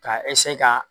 K'a ka